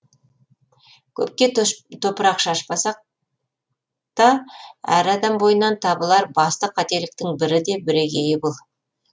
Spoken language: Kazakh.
көпке топырақ шашпасақ та әр адам бойынан табылар басты қателіктің бірі де бірегейі бұл